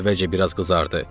Əvvəlcə biraz qızardı.